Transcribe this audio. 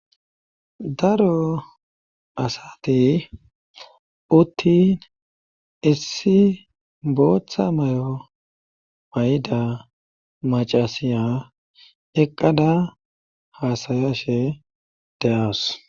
daro asati uttin issi booththa mayo mayda macasiya eqqada haasayashe de7awus.